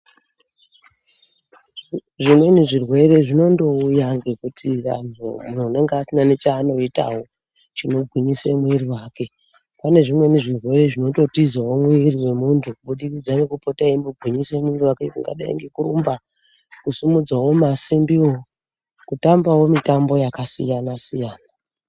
Zvimweni zvirwere zvinondouyawo ngekuti vantu, muntu unenge usina nechaanoitawo chekugwinyise muwiri wake pane zvinweni zvirwere zvinototizawo muntu kubudikidza nekupota echimbogwinyisa muwiri kungadai kurumba , kusimudzawo masimbi woo, kutambawo mitambo yakasiyana siyana.